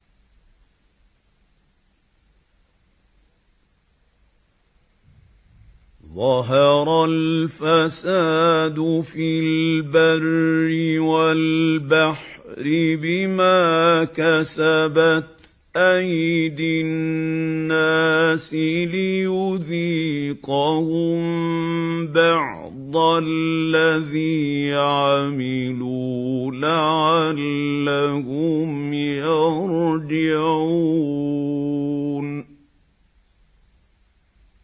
ظَهَرَ الْفَسَادُ فِي الْبَرِّ وَالْبَحْرِ بِمَا كَسَبَتْ أَيْدِي النَّاسِ لِيُذِيقَهُم بَعْضَ الَّذِي عَمِلُوا لَعَلَّهُمْ يَرْجِعُونَ